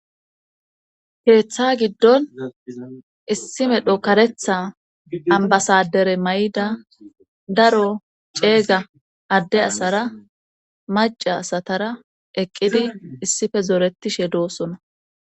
Keeththa giddon issi medho karetha ambasadere may7ida daro ceega adde asara maca asatara eqqidi issife zoretishe doosona